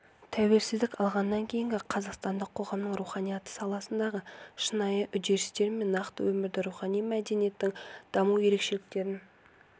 тәуелсіздік алғаннан кейінгі қазақстандық қоғамның руханияты саласындағы шынайы үдерістер мен нақты өмірді рухани мәдениеттің даму ерекшеліктерін